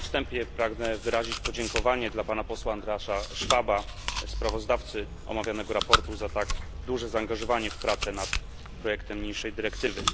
Na wstępie pragnę wyrazić podziękowanie dla pana posła Andreasa Schwaba, sprawozdawcy omawianego sprawozdania, za tak duże zaangażowanie w prace nad projektem niniejszej dyrektywy.